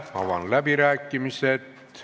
Avan läbirääkimised.